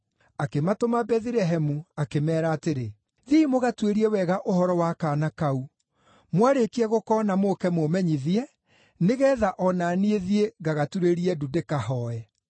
Akĩmatũma Bethilehemu akĩmeera atĩrĩ, “Thiĩi mũgatuĩrie wega ũhoro wa kaana kau. Mwarĩkia gũkoona mũũke mũũmenyithie, nĩgeetha o na niĩ thiĩ ngagaturĩrie ndu ndĩkahooe.”